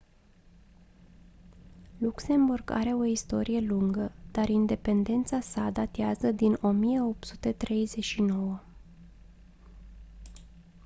luxemburg are o istorie lungă dar independența sa datează din 1839